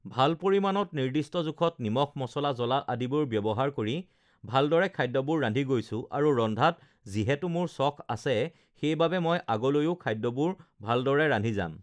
ভাল পৰিমাণত নিৰ্দিষ্ট জোখত নিমখ, মছলা, জ্বলা আদিবোৰ ব্যৱহাৰ কৰি ভালদৰে খাদ্যবোৰ ৰান্ধি গৈছোঁ আৰু ৰন্ধাত যিহেতু মোৰ চখ আছে সেইবাবে মই ugh আগলৈও খাদ্যবোৰ ভালদৰে ৰান্ধি যাম